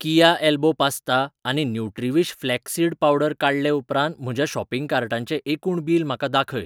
कीया elbow pasta आनी Nutriwish flax seed powder काडले उपरांत म्हज्या शॉपिंग कार्टाचें एकूण बील म्हाका दाखय.